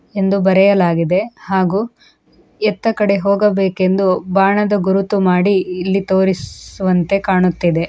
ಎಂದು ಬರೆಯಲಾಗಿದೆ ಹಾಗೂ ಎತ್ತಾಕಡೆಗೆ ಹೋಗಬೇಕೆಂದು ಬಾಣದ ಗುರುತು ಮಾಡಿ ಇಲ್ಲಿ ತೋರಿಸುವಂತೆ ಕಾಣುತ್ತಿದೆ --